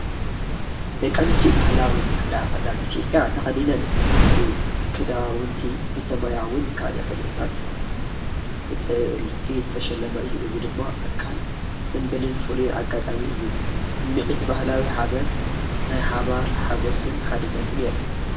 ደቂ ኣንስትዮ ባህላዊ ጻዕዳ ክዳን ኢትዮጵያ ተኸዲነን እቲ ክዳውንቲ ብሰማያውን ካልእ ሕብርታትን ብጥልፊ ዝተሸለመ እዩ። እዚ ድማ ኣካል ጽምብልን ፍሉይ ኣጋጣሚን እዩ። ስሚዒት ባህላዊ ሓበን፣ ናይ ሓባር ሓጎስን ሓድነትን የርኢ።